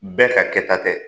Bɛɛ ka kɛta tɛ